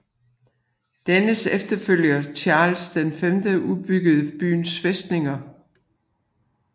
Dennes efterfølger Charles V udbyggede byens fæstninger